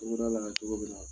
la cogo min na